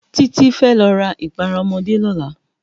Titi fè lò rá ipàrá òmòdé lòlá